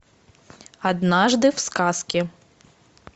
однажды в сказке